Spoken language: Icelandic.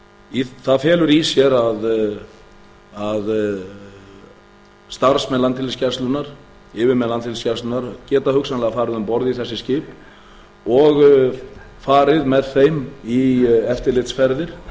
sinna það felur í sér að starfsmenn landhelgisgæslunnar yfirmenn landhelgisgæslunnar geta hugsanlega farið um borð í þessi skip og farið með þeim í eftirlitsferðir